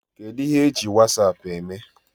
Kedụ ihe I ji wasaapụ eme?